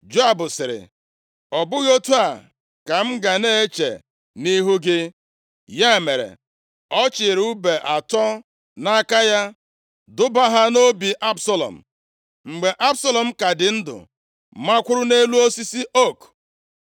Joab sịrị, “Ọ bụghị otu a ka m ga na-eche nʼihu gị.” Ya mere, ọ chịịrị ùbe atọ nʼaka ya, dubaa ha nʼobi Absalọm, mgbe Absalọm ka dị ndụ makwụrụ nʼelu osisi ook.